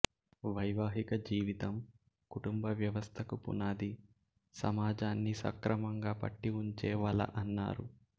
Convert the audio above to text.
వైవాహిక జీవితం కుటుంబ వ్యవస్థకు పునాది సమాజాన్ని సక్రమంగా పట్టి ఉంచే వల అన్నారు